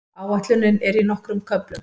Áætlunin er í nokkrum köflum.